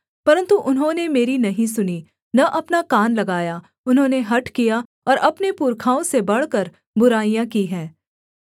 परन्तु उन्होंने मेरी नहीं सुनी न अपना कान लगाया उन्होंने हठ किया और अपने पुरखाओं से बढ़कर बुराइयाँ की हैं